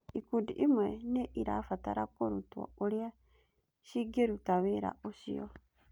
Ikundi imwe nĩ irabatara kũrutwo ũrĩa cigĩruta wĩra ũcio.